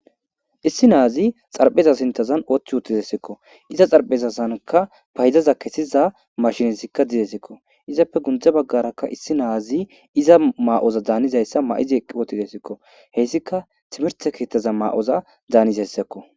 Issi nazi xarapheza sinthan uti utideskko iza xaraphezazankka fayda machinnezikka dizaysakko izape guye bagarakka Issi nazi iza mayoza daniza mayoza mayidi eqi utideskko hesikka timirte ketha mayoza danizaysakko